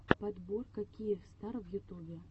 подборка киевстар в ютубе